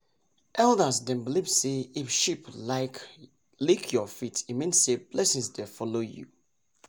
elders dem believe say if sheep lik your feet e mean say blessings dey follow you